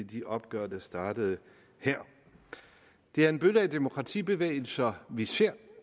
de opgør der startede her det er en bølge af demokratibevægelser vi ser